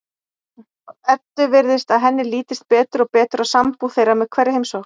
Eddu virðist að henni lítist betur og betur á sambúð þeirra með hverri heimsókn.